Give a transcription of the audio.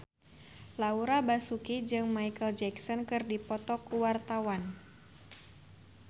Laura Basuki jeung Micheal Jackson keur dipoto ku wartawan